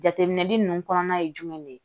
Jateminɛli ninnu kɔnɔna ye jumɛn de ye